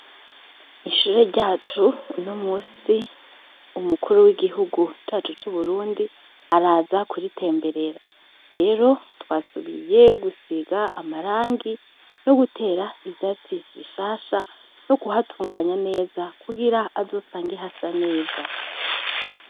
Ishure ryacu no musi umukuru w'igihugu cacu c'uburundi araza kuritemberera rero twasubiye gusiga amarangi no gutera ivyasi bishasha no guhatunganya neza kugira azosange hasa neza.